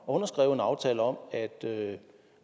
og underskrevet en aftale om at